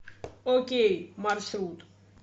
окей маршрут